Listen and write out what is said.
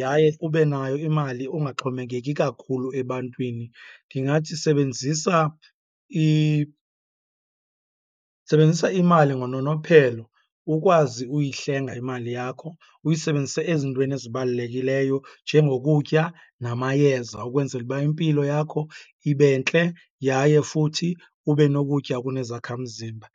yaye ube nayo imali ungaxhomekeki kakhulu ebantwini, ndingathi sebenzisa sebenzisa imali ngononophelo. Ukwazi uyihlenga imali yakho, uyisebenzise ezintweni ezibalulekileyo njengokutya namayeza ukwenzela uba impilo yakho ibe ntle yaye futhi ube nokutya okunezakhamzimba.